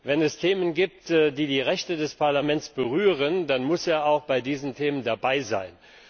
Wenn es Themen gibt, die die Rechte des Parlaments berühren, dann muss er auch bei diesen Themen dabei sein.